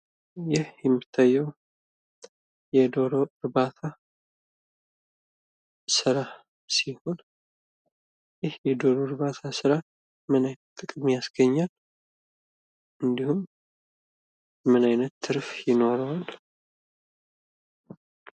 ይህ የሚታየው የዶሮ እርባታ ስራ ሲሆን ይህ የዶሮ እርባታ ስራ ምንአይነት ጥቅም ያስገኛል? እንዲሁም ምን አይነት ትርፍ ይኖረዋል?